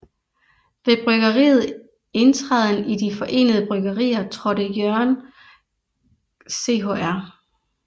Ved bryggeriet indtræden i De forenede Bryggerier trådte Jørgen Chr